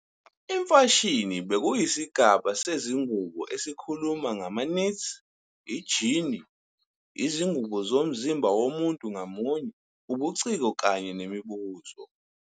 Imfashini bekuyisigaba sezingubo esikhuluma ngama-knits, ijini, izingubo zomzimba womuntu ngamunye, ubuciko kanye nemibuzo.